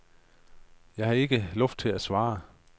Jeg har ikke luft til at svare.